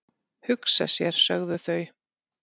"""Hugsa sér, sögðu þau."""